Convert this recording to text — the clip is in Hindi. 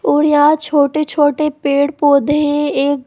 और यहाँ छोटे छोटे पेड़ पौधे है एक--